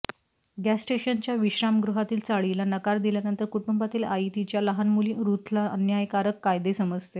gas स्टेशनच्या विश्रामगृहातील चाळीला नकार दिल्यानंतर कुटुंबातील आई तिच्या लहान मुली रूथला अन्यायकारक कायदे समजते